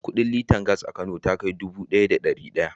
Kudin liter gas a Kano ta kai dubu ɗaya da ɗari ɗaya.